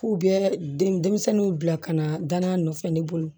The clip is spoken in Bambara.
K'u bɛ denmisɛnninw bila ka na danaya nɔfɛ ne bolo